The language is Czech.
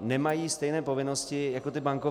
nemají stejné povinnosti jako ty bankovní.